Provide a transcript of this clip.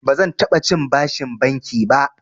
Bazan taɓa cin bashin banki ba.